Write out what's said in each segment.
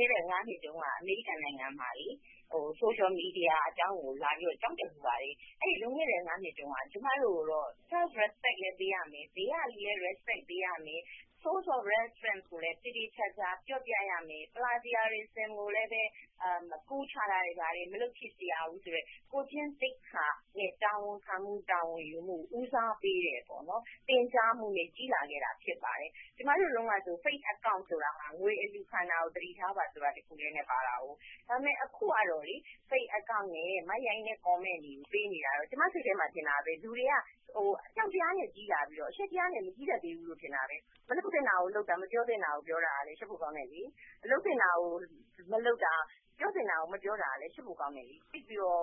ခဲ့တဲ့ နှစ်တုန်းက အမေရိကန်နိုင်ငံမှာ Social Media အကြောင်းကို လာပြီးတော့ ကျောင်းတက်ဖူးပါတယ်။ အဲဒီ လွန်ခဲ့တဲ့ နှစ်တုန်းကတော့ ကျမတို့ကို Self-respect လည်း ပေးရမယ်။ ဘေးကလူကိုလည်း Respect ပေးရမယ်။ Source of references ကိုလည်း သေသေချာချာ ပြောပြရမယ်။ Plagiarizism မကူးချ ရဘူးဆိုတဲ့ ကိုယ်ကျင့်သိက္ခာနဲ့ တာဝန်ခံမှု၊ တာဝန်ယူမှုကိုလည်း ဦးစားပေးတဲ့ သင်ကြားမှုနဲ့ ကြီးလာခဲ့တာ ဖြစ်ပါတယ်။ ကျမတို့တုန်းက Fake Account ဆိုတာ ငွေအလှုခံတာတခုကို သတိထားပါဆိုတာပဲပါတယ်။ ဒါပေမဲ့ အခုကတော့ Fake account နဲ့ မိုက်ရိုင်းတဲ့ comments တွေကို ပေးနေတာ၊ ကျမစိတ်ထဲမှာ ထင်တာပဲ လူတွေက အကြောက်တရားနဲ့ ကြီးလာပြီး၊ အရှက်တရားနဲ့ မကြီးတတ်ဘူး ထင်တာပဲ။ မလုပ်သင့်တာကို လုပ်တာ၊ မပြောသင့်တာကို ပြောတာ ရှက်ဖို့ကောင်းတယ်။ လုပ်သင့်တာကို မလုပ်တာ၊ ပြောသင့်တာကို မပြောတာလည်း ရှက်ဖို့ကောင်းတယ်။ သိပ်ပြီးတော့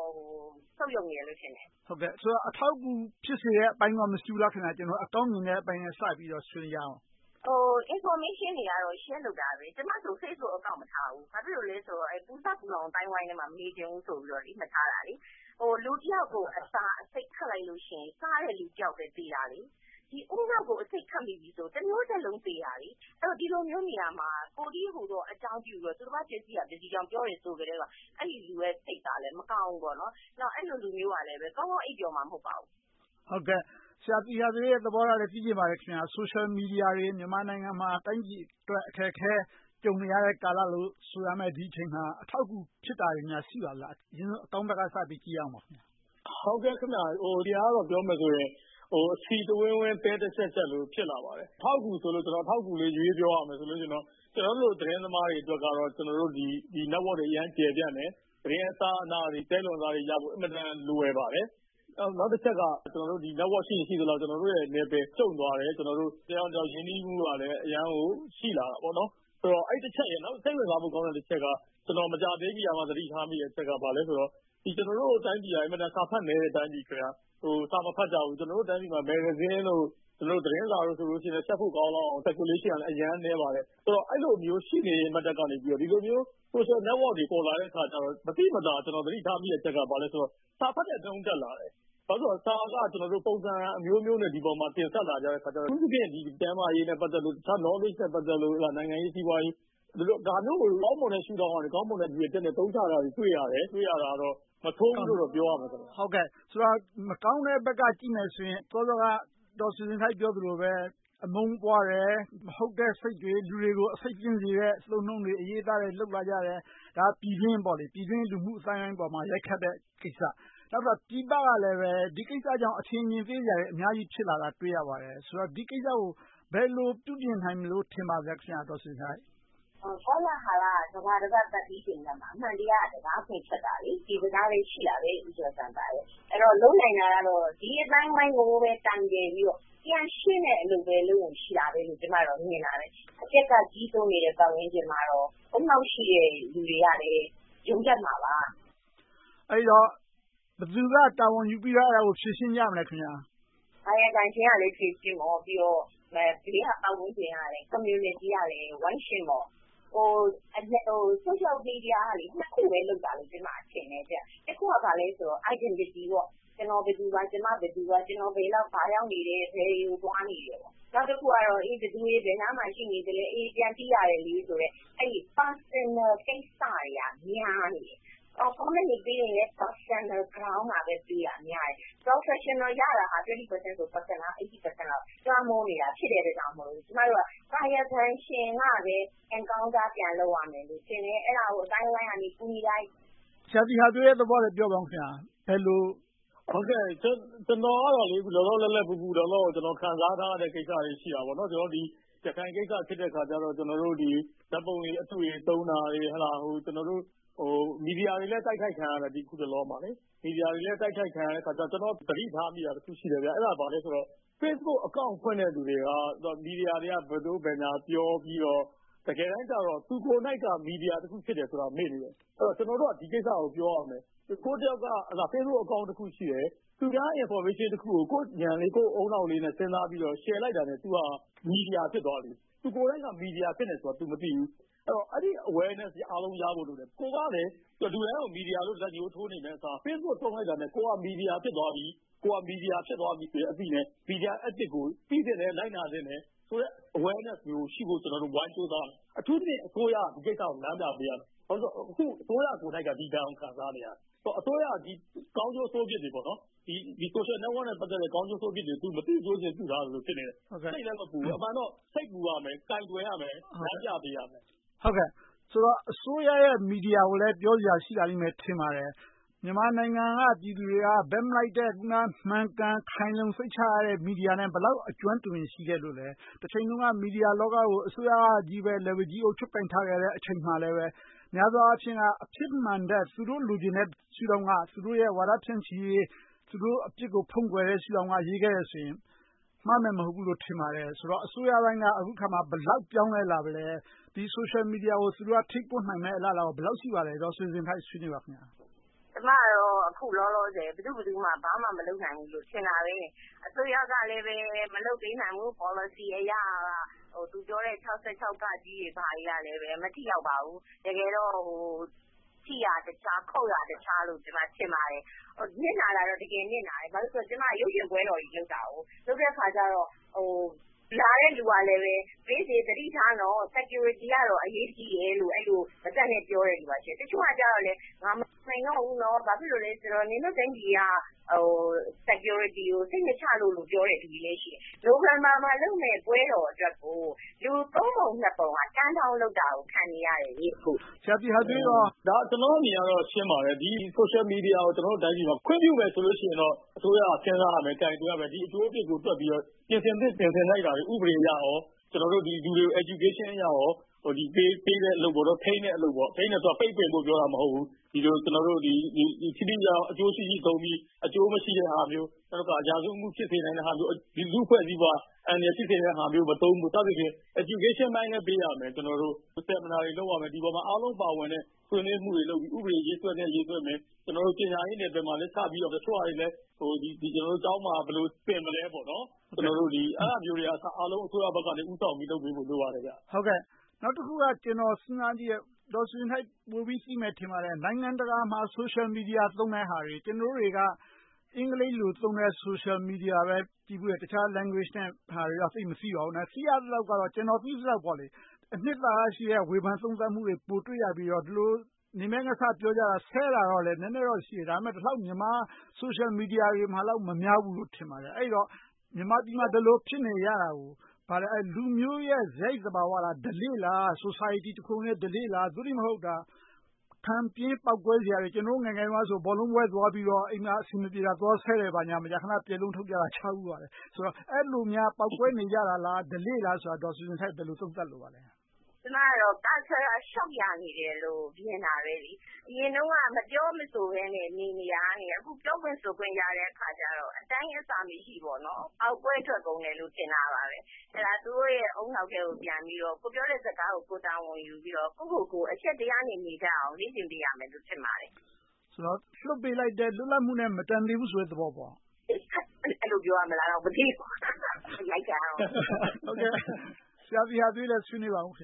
ဆုတ်ယုတ်နေတယ်လို့ ထင်တယ်။ ဆိုတော့ အထောက်အကူ ဖြစ်စေတဲ့အပိုင်းကော မရှိဘူးလား။ ကျနော်တို့ အကောင်းမြင်တဲ့အပိုင်းနဲ့ စပြီးတော့ ဆွေးနွေးကြရအောင်ပါ။ Information တွေကတော့ Share လုပ်ကြတာပဲ။ ကျမဆို Facebook account မထားဘူး။ ဘာဖြစ်လို့လဲဆိုတော့ ပူစပ်ပူလောင် အသိုင်းအဝိုင်းကြားထဲမှာ မနေချင်ဘူးဆိုပြီး မထားတာပါ။ လူတယောက်ကို အစာအဆိပ်ခတ်လိုက်လို့ရှိရင် စားတဲ့လူတယောက်ပဲ သေတာ။ ဒီဦးနှောက်ကို အဆိပ်ခတ်မိပြီဆိုရင် တမျိုးဆက်လုံး သေတာ။ အဲဒီတော့ ဒီလိုမျိုးနေရာမှာ ကိုယ်တည်းဟူသောအကြောင်းပြုပြီးတော့ သူတပါး ပျက်စီးရာ ပျက်စီးကြောင်း ပြောတယ်ဆိုကတည်းက အဲဒီလူရဲ့ စိတ်ကလည်း မကောင်းဘူးပေါ့။ နောက် အဲဒီလူမျိုးကလည်း ကောင်းကောင်းအိပ်ပျော်မှာ မဟုတ်ပါဘူး။ ဆရာသီဟသွေးရဲ့ သဘောထားကိုလည်း သိချင်ပါတယ်။ Social Media တွေ မြန်မာနိုင်ငံမှာ တိုင်းပြည်အတွက် အခက်အခဲ ကြုံနေရတဲ့ ကာလလို့ဆိုရမယ့် ဒီအချိန်မှာ အထောက်အကူပြုတာတွေများ ရှိပါလား။ အရင်ဆုံး အကောင်းဘက်က ကြည့်ရအောင်ပါ။ ဒီဟာကတော့ ပြောမယ်ဆိုရင် အဆီတဝင်းဝင်း သဲတရှပ်ရှပ်လို ဖြစ်လာပါတယ်။ အထောက်အကူဆိုလို့ အထောက်အကူလေး ရွေးပြောရမယ်ဆိုရင် ကျနော်တို့လို သတင်းသမားတွေအတွက်တော့ Network တွေ အရမ်းကျယ်ပြန့်တယ်။ သတင်းအစအနတွေ၊ သဲလွန်စတွေရဖို့ အင်မတန် လွယ်ပါတယ်။ နောက်တချက်က Network ရှိရင် ရှိသမျှ ကျနော်တို့ရဲ့ နယ်ပယ်ကျုံသွားတယ်။ တယောက်နဲ့တယောက် ရင်းနှီးမှုကလည်း အရမ်းကို ရှိလာတာပေါ့။ အဲဒီတချက်ရယ်။ နောက် စိတ်ဝင်စားဖို့ကောင်းတဲ့ တချက်က မကြာသေးမီက သတိထားမိတဲ့အချက်က ဘာလဲဆိုတော့ ကျနော်တို့ တိုင်းပြည်က အင်မတန် စာဖတ်နည်းတဲ့ တိုင်းပြည်ဖြစ်တယ်။ စာမဖတ်ကြဘူး။ ကျနော်တို့တိုင်းပြည်မှာ မဂ္ဂဇင်းတို့၊ သတင်းစာတို့ဆိုရင် ရှက်ဖို့ကောင်းလှအောင် Circulation ကလည်း အရမ်းနည်းပါတယ်။ ဆိုတော့ အဲဒီလိုမျိုးရှိတဲ့အနက်ကနေ ဒီလိုမျိုး Social Network တွေ ပေါ်လာတဲ့အခါ မသိမသာ ကျနော်တို့ သတိထားမိတဲ့အချက်က ဘာလဲဆိုတော့ စာဖတ်တဲ့နှုန်း တက်လာတယ်။ ဘာဖြစ်လို့လဲဆိုတော့ စာက ပုံစံအမျိုးမျိုးနဲ့ ဒီပေါ်မှာ တင်ဆက်လာတဲ့အခါကြတော့ အထူးသဖြင့် ကျန်းမာရေးနဲ့ ပတ်သက်လို့၊ တခြား Knowledge နဲ့ ပတ်သက်လို့ နိုင်ငံရေး၊ စီးပွားရေး ဒါမျိုးတွေကို ကောင်းမွန်တဲ့ ရှုထောင်ကနေ၊ ကောင်းမွန်တဲ့ ရည်ရွယ်ချက်နဲ့ အသုံးချတာတွေ တွေ့ရတယ်။ တွေ့ရတာတော့ မဆိုးဘူးလို့ ပြောရမှာပေါ့။ မကောင်းတဲ့ဘက်က ကြည့်မယ်ဆိုရင် စောစောက ဒေါ်ဆွေဇင်ထိုက် ပြောသလိုပဲ အမုန်းပွားတယ်။ မဟုတ်တဲ့စိတ်တွေ လူတွေကို အဆိပ်သင့်စေတဲ့ အသုံးအနှုန်းတွေ၊ အရေးအသားတွေ လုပ်လာကြတယ်။ ဒါက ပြည်တွင်းပေါ့။ ပြည်တွင်းအသိုင်းအဝိုင်းပေါ်မှာ ရိုက်ခတ်တဲ့ ကိစ္စ။ နောက်တခါ ပြည်ပကလည်း ဒီကိစ္စကြောင့် အထင်အမြင်သေးစရာတွေ အများကြီးဖြစ်လာတာကို တွေ့ရတယ်။ ဆိုတော့ ဒီကိစ္စကို ဘယ်လိုပြုပြင်နိုင်မယ်လို့ ထင်ပါလဲ။ ကောလဟာလက ကမ္ဘာတပတ်ပတ်ပြီးချိန်မှ အမှန်တရားက တံခါးဖွင့်ထွက်တာလေ။ ဒီစကားလည်း ရှိတယ်။ အဲဒီတော့ လုပ်နိုင်တာကတော့ ဒီအသိုင်းအဝိုင်းကိုပဲ တိုင်တည်ပြီးတော့ ပြန်ရှင်းတဲ့ အလုပ်ပဲ လုပ်ဖို့ရှိတယ်လို့ ကျမ မြင်တယ်။… ကြီးစိုးနေတဲ့ ပတ်ဝန်းကျင်မှာတော့ ဦးနှောက်ရှိတဲ့ လူတွေကလည်း ယုံတတ်မှာပါ။ အဲဒီတော့ ဘယ်သူက တာဝန်ယူပြီးတော့ ဖြေရှင်းကြမလဲ။ ကာယကံရှင်ကလည်း ဖြေရှင်းပေါ့။ ပြီးတော့ ဘေးကပတ်ဝန်းကျင်ကလည်း Community ကလည်း ဝိုင်းရှင်းပေါ့။ Social Media က နှစ်ခုပဲ လုပ်တာလို့ ကျမထင်တယ်။ တခုက ဘာလဲဆိုတော့ Identity ကျနော် ဘယ်သူပါ။ ကျမ ဘယ်သူပါ။ ကျနော် ဘယ်ရောက် ဘာလုပ်နေတယ်။ ဘယ်ကိုသွားနေတယ်ပေါ့။ နောက်တခုက ဘယ်သူတွေ ဘယ်နားမှာ ရှိနေလဲ။ ပြန်သိရတယ်လေဆိုတဲ့ အဲဒီ Personal ကိစ္စတွေက များနေတယ်။ Comment တွေ ပေးရင်လဲ Personal ground မှာပဲ ပေးတာများတယ်။ Professional ရတာ 20% နဲ့ Personal က 80% လောက် လွှမ်းမိုးနေတာ ဖြစ်တဲ့အတွက်မို့ ကျမတို့က ကာယကံရှင်ကပဲ Encounter ပြန်လုပ်ရမယ်လို့ ထင်တယ်။ အဲဒါကို အသိုင်းအဝိုင်းကနေ ကူညီလိုက်။ ဆရာသီဟသွေးရဲ့ သဘောကိုလည်း ပြောပါအုံး။ ကျနော်ကတော့ လောလောလတ်လတ် ပူပူလောင်လောင် ခံစားထားရတဲ့ ကိစ္စတွေ ရှိတာပေါ့။ ကျနော်တို့ ရခိုင်ကိစ္စ ဖြစ်တဲ့အခါကြတော့ ဓါတ်ပုံတွေ အတုတွေ သုံးတာတွေ။ မီဒီယာတွေလည်း တိုက်ခိုက်ခံရတော့ ကျနော် သတိထားမိတာက Facebook account ဖွင့်တဲ့ လူတွေက မီဒီယာတွေက ဘယ်သို့ဘယ်ညာ ပြောပြီးတော့ တကယ်တမ်းကြတော့ သူကိုယ်တိုင်က မီဒီယာတခု ဖြစ်နေတယ်ဆိုတာကို မေ့နေတယ်။ ကျနော်တို့က ဒီကိစ္စကို ပြောရမယ်။ ကိုယ်က Facebook account တခု ရှိတယ်။ သူများ Information တခုကို ကိုယ့်ဉာဏ်နဲ့ ကိုယ့်ဦးနှောက်နဲ့ စဉ်းစားပြီးတော့ Share လိုက်တာနဲ့ သူက မီဒီယာ ဖြစ်သွားပြီ။ သူက မီဒီယာ ဖြစ်နေတယ်ဆိုတာ သူမသိဘူး။ အဲဒီ Awareness တွေ အားလုံးရဖို့လိုတယ်။ ကိုယ့်ကလည်း လူတိုင်းကို မီဒီယာလို့ လက်ညှိုုးထိုးနေမယ့်အစား Facebook သုံးလိုက်တာနဲ့ ကိုယ်လည်း မီဒီယာ ဖြစ်သွားပြီဆိုတဲ့ အသိနဲ့ Media Ethics ကို သိသင့်တယ်။ လိုက်နာသင့်တယ်ဆိုတဲ့ Awareness မျိုးရှိဖို့ ကျနော်တို့ ဝိုင်းကြိုးစားရမယ်။ အထူးသဖြင့် အစိုးရက ဒီကိစ္စကို လမ်းပြပေးရမယ်။ ဘာဖြစ်လို့လဲဆိုတော့ အခု အစိုးရကိုယ်တိုင်က ဒီကိစ္စကို ခံစားနေရတယ်။ ဆိုတော့ အစိုးရက ဒီ Social Network နဲ့ ပတ်သက်တဲ့ ကောင်းကျိုးဆိုးပြစ်တွေကို မသိကျိုကျွံပြစ်ထားသလို ဖြစ်နေတယ်။ စိတ်လည်းမပူဘူး။ အမှန်တော့ စိတ်ပူရမယ်။ ကိုင်တွယ်ရမယ်၊ လမ်းပြပေးရမယ်။ ဆိုတော့ အစိုးရရဲ့ မီဒီယာကိုလည်း ပြောစရာ ရှိလာလိမ့်မယ် ထင်ပါတယ်။ မြန်မာနိုင်ငံက ပြည်သူတွေက ဘက်မလိုက်တဲ့ မှန်ကန်ခိုင်လုံစိတ်ချရတဲ့ မီဒီယာနဲ့ ဘယ်လောက် အကျွမ်းတဝင် ရှိခဲ့လို့လဲ။ တချိန်တုန်းက မီဒီယာလောကကို အစိုးရက လက်ဝါးကြီးအုပ် ချုပ်ကိုင်ထားခဲ့တဲ့အချိန်မှာလည်း များသောအားဖြင့် အဖြစ်မှန်ထက် သူတို့ လိုချင်တဲ့ ရှုထောင့်က သူတို့ဝါဒ ဖြန့်ချီရေး။ သူတို့အပြစ်ကို ဖုံးကွယ်တဲ့ ရှုထောင့်က ရေးခဲ့တယ်ဆိုရင် မှားမယ်မဟုတ်ဘူးလို့ ထင်ပါတယ်။ ဆိုတော့ အစိုးရပိုင်းက အခုအခါမှာ ဘယ်လောက်ပြောင်းလဲလာပြီလဲ။ ဒီ Social Media ကို သူတို့က ထိန်းကွပ်နိုင်မယ့် အလားအလာ ဘယ်လောက်ရှိပါလဲ။ ဒေါ်ဆွေဇင်ထိုက် ဆွေးနွေးပါ။ ကျမကတော့ အခုအခါမှာ ဘယ်သူ့ဘယ်သူမှ ဘာမှမလုပ်နိုင်ဘူးလို့ ထင်တယ်။ အစိုးရကလည်း မလုပ်ပေးနိုင်ဘူး။ Policy အရ သူပြောတဲ့ ၆၆ တွေ ဘာတွေကလဲ မထိရောက်ပါဘူး။ တကယ်တော့ ထိရာတခြား ခုတ်ရာတခြား ကျမ ထင်ပါတယ်။ နစ်နာတာတော့ တကယ်နစ်နာတယ်။ ဘာဖြစ်လို့လဲဆိုတော့ ကျမ ရုပ်ရှင်ပွဲတော်တွေလုပ်တာ - လုပ်တဲ့အခါကြတော့ လာတဲ့လူကလည်း မိတ်ဆွေ သတိထားနော်… Security က အရေးကြီးတယ်လို့ ပြောတဲ့လူရှိတယ်။ တချို့ကလည်း ငါ မဆိုင်တော့ဘူး… ဘာဖြစ်လို့လဲဆိုတော့ နင်တို့တိုင်းပြည်က Security ကို စိတ်မချလို့ ပြောတဲ့လူလည်း ရှိတယ်။ နိုဝင်ဘာမှာလုပ်မယ့် ပွဲတော်အတွက်ကို လူသုံးပုံနှစ်ပုံက Turn down လုပ်တာကို ခံနေရတယ်။ ဆရာသီဟသွေး အမြင်က… ကျနော်အမြင်ကတော့ ရှင်းပါတယ်။ ဒီ Social Media ကို ခွင့်ပြုမယ်ဆိုရင်တော့ အစိုးရက စဉ်းစားရမယ်။ ကိုင်တွယ်ရမယ်။ ဒီအကျိုးအပြစ်ကို တွက်ပြီးတော့ ပြင်ဆင်သင့် ပြင်ဆင်ထိုက်တာတွေကို ဥပဒေအရ၊ လူတွေကို Education အရ ပေးတဲ့အလုပ်၊ ထိန်းတဲ့အလုပ် - ထိန်းတဲ့အလုပ်ဆိုတာ ပိတ်ပင်ဖို့ကို ပြောတာမဟုတ်ဘူး - ထိထိရောက်ရောက် အကျိုးရှိရှိသုံးပြီး၊ အကျိုးမရှိတဲ့ဟာမျိုး။ နောက်တခါ ရာဇဝတ်မှု ဖြစ်စေနိုင်တဲ့ဟာမျိုး၊ လူ့အဖွဲ့အစည်းကို အန္တရာယ်ဖြစ်စေတဲ့ဟာမျိုးတွေကို မသုံးဖို့ စသဖြင့် Eduation ပိုင်းလည်း ပေးရမယ်။ Seminar တွေ လုပ်ရမယ်။ ဒီအပေါ်မှာ အားလုံးပါဝင်တဲ့ ဆွေးနွေးမှုတွေလုပ်ပြီး ဥပဒေရေးဆွဲသင့်တာ ရေးဆွဲမယ်။ ပညာရေးနယ်ပယ်မှာလည်း စပြီးတော့ ကျောင်းမှာ ဘယ်လိုသင်မလဲ။ အဲဒါမျိုးတွေကို အစိုးရဘက်က ဦးဆောင်ပြီး လုပ်ပေးဖို့ လိုပါပတယ်။ နောက်တခုက ကျနော် စဉ်းစားကြည့်တယ်။ ဒေါ်ဆွေဇင်ထိုက် ပိုပြီးတော့ သိမယ်ထင်ပါတယ်။ နိုင်ငံတကာမှာ Social Media သုံးတဲ့ဟာတွေ။ ကျနော်တို့တွေက အင်္ဂလိပ်လိုသုံးတဲ့ Social Media ပဲ ကြည့်ဖူးတယ်။ တခြား Language တွေတော့ သိပ်မသိပါဘူး။ ကျနော် သိသလောက်တော့ အနစ်သာရရှိတဲ့ ဝေဖန်သုံးသပ်မှုတွေ ပိုတွေ့ရပြီးတော့ ဒီလို နင်မဲငါစ ပြောကြတာ။ ဆဲဆိုတာတော့ နည်းနည်းတော့ ရှိတယ်။ မြန်မာ Social Media တွေမှာလောက် မများဘူးလို့ ထင်ပါတယ်။ အဲဒီတော့ မြန်မာပြည်မှာ ဒီလို ဖြစ်နေရတာကိုက လူမျိုးရဲ့ စရိုက်သဘာဝလား။ ဓလေ့လား။ Society တခုလုံးရဲ့ ဓလေ့လား။ သို့တည်းမဟုတ် ခံပြင်းပေါက်ကွဲစရာတွေကြောင့်လား။ ကျနော်တို့ ငယ်ငယ်တုန်းက ဘောလုံးပွဲသွားပြီးတော့ အိမ်မှာအဆင်မပြေတာ သွားဆဲတယ် ဘာညာ မကြာခဏ ပျက်လုံးထုတ်ကြတာကို ဖတ်ဖူးပါတယ်။ အဲဒီလိုများ ပေါက်ကွဲနေကြတာလား။ ဓလေ့လားဆိုတာ ဒေါ်ဆွေဇင်ထိုက် ဘယ်လို သုံးသပ်လိုပါလဲ။ ကျမကတော့ Cultural Shock ရနေတယ်လို့ မြင်တယ်။ အရင်တုန်းက မပြောမဆိုဘဲနဲ့ နေနေတာကနေ အခု ပြောခွင့်ဆိုခွင့် ရတဲ့အခါကြတော့ အတိုင်းအဆမရှိ ပေါက်ကွဲထွက်ကုန်တယ်လို့ ထင်တယ်။ အဲဒါ သူတို့ရဲ့ ဦးနှောက်ထဲကို ပြန်ပြီးတော့ ကိုယ်ပြောတဲ့စကားကို ကိုယ်ပြန်တာဝန်ယူပြီးတော့ ကိုယ့်ကိုယ်ကို အရှက်တရားနဲ့ နေကြအောင် လေ့ကျင့်ပေးရမယ်လို့ ထင်ပါတယ်။ ဆိုတော့ လွတ်ပေးလိုက်တဲ့ လွတ်လပ်မှုနဲ့ မတန်သေးဘူးဆိုတဲ့ သဘောပေါ့။ အဲဒီလို ပြောရမလား မသိဘူး။ အရိုက်ခံရတော့မယ်။ ဆရာသီဟသွေးလည်း ဆွေးနွေးပါအုံး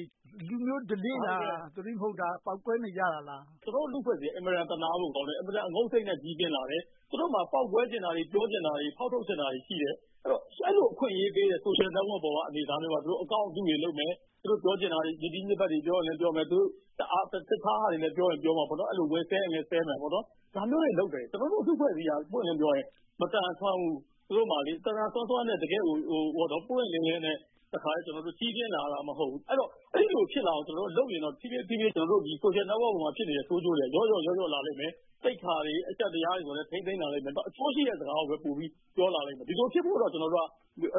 ။ လူမျိုးဓလေ့လား။ သို့တည်းမဟုတ် ပေါက်ကွဲနေကြတာလား။ ကျနော်တို့ လူ့အဖွဲ့အစည်းက အင်မတန် သနားဖို့ကောင်းတယ်။ အင်မတန် အငုံစိတ်နဲ့ ကြီးပြင်းလာတယ်။ သူတို့မှာ ပေါက်ကွဲချင်တာတွေ၊ ပြောချင်တာတွေ၊ ဖောက်ထုတ်ချင်တာတွေ ရှိတယ်။ အဲဒီလို အခွင့်အရေးပေးတဲ့ Social Network ပေါ်က အနေအထားမျိုးမှာ Account အတုတွေလုပ်မယ်။ သူတို့ပြောချင်တာတွေ ညစ်တီးညစ်ပတ်တွေ ပြောချင်လည်းပြောမယ်။ တခြားဟာတွေလည်း ပြောချင်ပြောမှာပေါ့။ ဝင်ဆဲရင်လည်း ဆဲမှာပေါ့။ ဒါမျိုးတွေလုပ်တယ်။ ကျနော်တို့လူ့အဖွဲ့အစည်းက ပွင့်ပွင့်လင်းလင်းပြောရင် မသန်စွမ်းဘူး။ သူတို့မှာ သန်သန်စွမ်းစွမ်းနဲ့ ပွင့်ပွင့်လင်းလင်းနဲ့ ကြီးပြင်းလာရတာ မဟုတ်ဘူး။ အဲဒီလိုဖြစ်လာအောင် ကျနော်တို့ လုပ်ရင်တော့ ဖြည်းဖြည်းနဲ့ Social Network ပေါ်မှာ ဖြစ်နေတဲ့ ဆိုးကျိုးတွေက လျော့ကျလာလိမ့်မယ်။ သိက္ခာတွေ၊ အရှက်တရားတွေကို ထိန်းသိမ်းလာလိမ့်မယ်။ အကျိုးရှိတဲ့စကားကိုပဲ ပိုပြီးပြောလာလိမ့်မယ်။ ဒီလိုဖြစ်ဖို့တော့ ကျနော်တို့ကတော့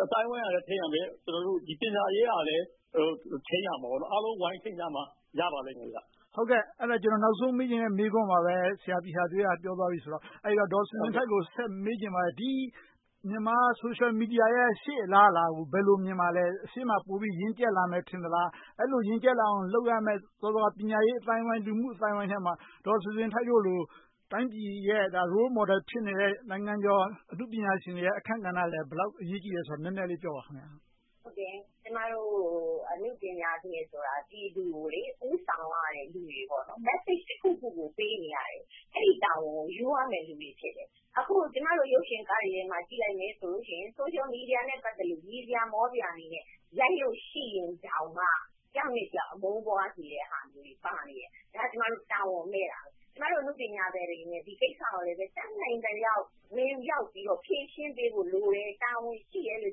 အသိုင်းအဝိုင်းကလည်း ထိန်းရမယ်။ ပညာရေးအရလည်း ထိန်းရမယ်။ အားလုံးဝိုင်းထိန်းမှ ရပါမယ်။ နောက်ဆုံးမေးချင်တဲ့ မေးခွန်းကို ဆရာသီဟသွေးက ပြောသွားပြီဆိုတော့ ဒေါ်ဆွေဇင်ထိုက်ကို မေးချင်ပါတယ်။ မြန်မာ Social Media ရဲ့ အလားအလာကို ဘယ်လိုမြင်ပါလဲ။ ရှေ့မှာပိုပြီး ရင့်ကြတ်လာမယ် ထင်သလား။ အဲဒီလို ရင့်ကြတ်လုပ်ရမယ့် ပညာရေးအသိုင်းအဝိုင်း၊ လူမှု့အသိုင်းအဝိုင်းထဲမှာ ဒေါ်ဆွေဇင်ထိုက်တို့လို တိုင်းပြည်ရဲ့ Role Model ဖြစ်တဲ့ နိုင်ငံကျော်အနုပညာရှင်တို့ရဲ့ အခန်းကဏ္ဍလည်း ဘယ်လောက် အရေးကြီးသလဲဆိုတာကို နည်းနည်းပြောပေးပါ။ ကျမတို့ အနုပညာရှင်ဆိုတာ ပြည်သူကို ဦးဆောင်ရတဲ့လူတွေပါ။ Message တခုခုကို ပေးနေရတယ်။ အဲဒီတာဝန်ကို ယူရမယ့်လူတွေ ဖြစ်တယ်။ အခု ကျမတို့ ရုပ်ရှင်ကားတွေထဲမှာ ကြည့်လိုက်မယ်ဆိုရင် Social Media နဲ့ ပတ်သက်လို့ ရယ်စရာ မောစရာတွေနဲ့ ရိုက်လို့ရှိရင်တောင်မှ တယောက်နဲ့တယောက် အမုန်းပွားစရာတွေပါနေတယ်။ ဒါက ကျမတို့ တာဝန်မဲ့တာ။ ကျမတို့ အနုပညာရှင်တွေအနေနဲ့ ဒီကိစ္စကို တတ်နိုင်သလောက် ဝင်ရောက်ပြီးတော့ ဖြေရှင်းပေးဖို့လိုတယ်။ တာဝန်ရှိတယ်လို့